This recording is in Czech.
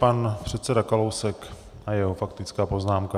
Pan předseda Kalousek a jeho faktická poznámka.